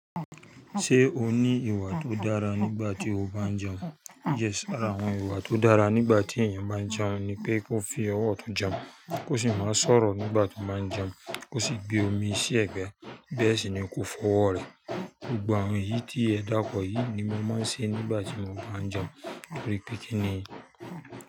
Ṣé o ní ìwà tó dára nígbà tí o bá ń jẹun? Yes, ara àwọn ìwà tó dára nígbà tí èèyàn bá ń jẹun ni pé kó fi ọwọ́ ọtun jẹun, kó sì má sọ̀rọ̀ nígbà tó bá ń jẹun, kó sì gbé omi sí ẹ̀gbẹ́ bẹ́ẹ̀ sì ni kó fọ ọwọ́ rẹ̀. Gbogbo àwọn èyí tí ẹ dákọ̀ yìí ni mo máa ń ṣe nígbà tí mo bá ń jẹun tori pé kínní.